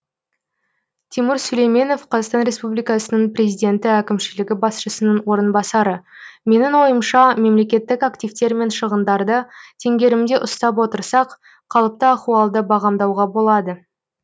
тимур сүлейменов қр президенті әкімшілігі басшысының орынбасары менің ойымша мемлекеттік активтер мен шығындарды теңгерімде ұстап отырсақ қалыпты ахуалды бағамдауға болады